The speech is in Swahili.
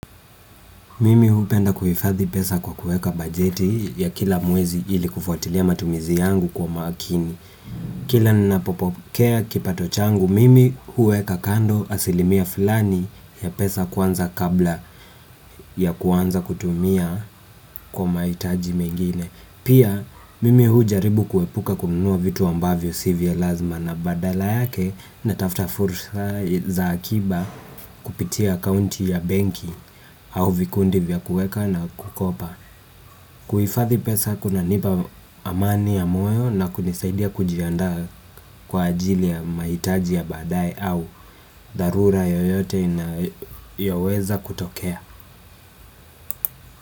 Mimi hupenda kuhifadhi pesa kwa kueka bajeti ya kila mwezi ili kufuatilia matumizi yangu kwa makini. Kila ninapopokea kipato changu mimi hueka kando asilimia fulani ya pesa kwanza kabla ya kwanza kutumia kwa mahitaji mengine. Pia mimi hujaribu kuepuka kununua vitu ambavyo si vya lazima na badala yake natafta fursa za akiba kupitia akaunti ya benki au vikundi vya kuweka na kukopa. Kuhifadhi pesa kunanipa amani ya moyo na kunisaidia kujiandaa kwa ajili ya mahiitaji ya baadaye au dharura yoyote inayoweza kutokea.